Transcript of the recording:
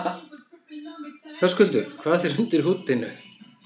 Hödd: Búinn að borða mikið yfir hátíðina?